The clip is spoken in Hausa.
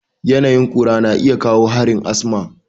Yanayin ƙura na iya kawo harin asma.